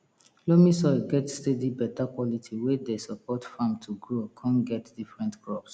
loamy soil get steady beta quality wey dey support farm to grow con get different crops